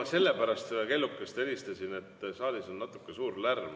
Ma sellepärast seda kellukest helistasin, et saalis on natuke liiga suur lärm.